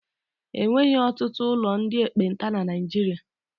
E nweghị ọtụtụ ụlọ ndị ekpenta na Niijiria.